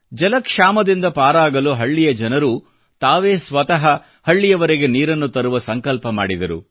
ಜಲಕ್ಷಾಮದಿಂದ ಪಾರಾಗಲು ಹಳ್ಳಿಯ ಜನರು ತಾವೇ ಸ್ವತಃ ಹಳ್ಳಿಯವರೆಗೆ ನೀರನ್ನು ತರುವ ಸಂಕಲ್ಪ ಮಾಡಿದರು